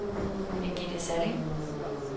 Birgitte Salling